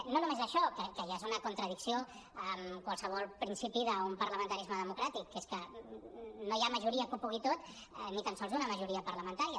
i no només això que ja és una contradicció en qualsevol principi d’un parlamentarisme democràtic que és que no hi ha majoria que ho pugui tot ni tan sols una majoria parlamentària